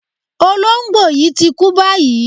Olóǹgbò yí ti kú báyìí.